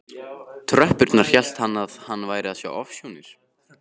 tröppurnar hélt hann að hann væri að sjá ofsjónir.